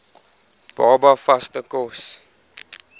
baba vaste kos